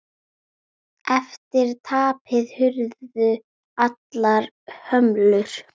Eftir tapið hurfu allar hömlur.